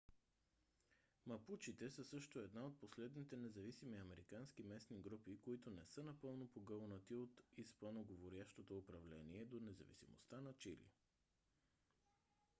мапучите са също една от последните независими американски местни групи които не са напълно погълнати от испаноговорящото управление до независимостта на чили